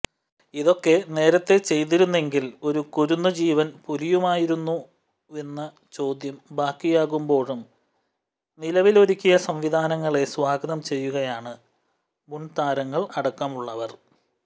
ഇതൊക്കെ േനരത്തേ ചെയ്തിരുന്നെങ്കിൽ ഒരു കുരുന്നുജീവൻ പൊലിയുമായിരുന്നുവോയെന്ന ചോദ്യം ബാക്കിയാകുേമ്പാഴും നിലവിലൊരുക്കിയ സംവിധാനങ്ങളെ സ്വാഗതം ചെയ്യുകയാണ് മുൻതാരങ്ങൾ അടക്കമുള്ളവർ